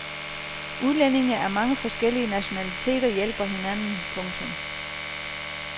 Udlændinge af mange forskellige nationaliteter hjælper hinanden. punktum